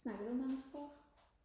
snakker du mange sprog